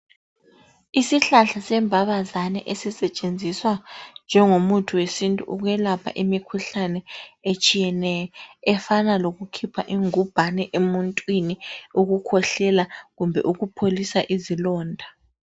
Isihlahla sembabazane esisetshenziswa njengomuthi wesintu ukwelapha imikhuhlane etshiyeneyo efana lokukhipha ingubhane emuntwini, ukukhwehlela kumbe ukupholisa izilonda.